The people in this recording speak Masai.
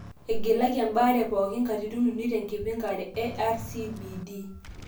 igilaki ebaare pookin katitin uni te nkipankare RCBD .